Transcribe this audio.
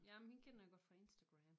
Jamen hende kender jeg godt fra Instagram